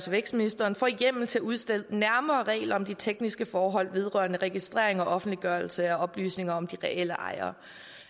vækstministeren hjemmel til at udstede nærmere regler om de tekniske forhold vedrørende registrering og offentliggørelse af oplysninger om de reelle ejere